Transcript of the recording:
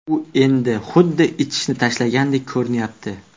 U endi xuddi ichishni tashlagandek ko‘rinyapti”.